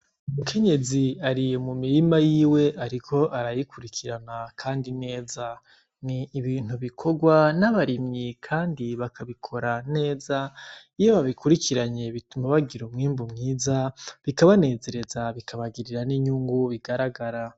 Mukenyezi ariye mu mirima yiwe, ariko ararikurikirana, kandi neza ni ibintu bikorwa n'abarimyi, kandi bakabikora neza iyo babikurikiranye bituma bagira umwimbu mwiza bikabanezereza bikabagirira n'inyungu bigaragara.